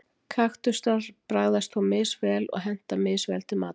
kaktusar bragðast þó misvel og henta misvel til matar